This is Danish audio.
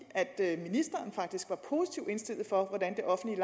at ministeren faktisk var positivt indstillet over for at det offentlige